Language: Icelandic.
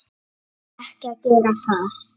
Á ekki að gera það.